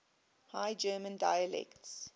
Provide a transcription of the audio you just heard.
high german dialects